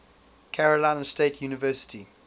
carolina state university